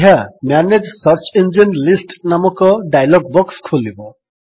ଏହା manage search engine list ନାମକ dialog box ଖୋଲିବ